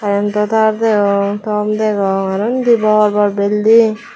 karrento tar degong thom degong aro undi bor bor bilding.